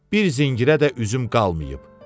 Bir zəngirə də üzüm qalmayıb.